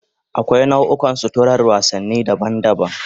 Akwai nau'ikan suturar wasanni daban-daban